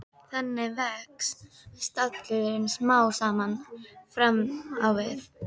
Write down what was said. Þannig vex stallurinn smám saman fram á við.